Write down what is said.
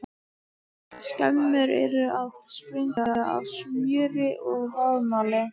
Skemmur eru að springa af smjöri og vaðmáli!